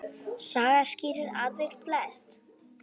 Saga skýrir atvik flest.